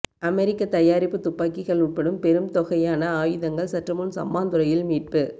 அமெரிக்க தயாரிப்பு துப்பாக்கிகள் உட்பட பெரும் தொகையான ஆயுதங்கள் சற்றுமுன் சம்மாந்துறையில் மீட்பு